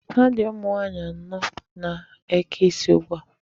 Ha dị ụmụ nwaanyị anọ na-eke isi ugbu a.